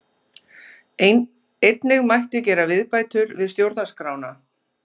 Einnig mætti gera viðbætur við stjórnarskrá